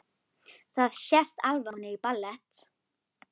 Það sést alveg að hún er í ballett.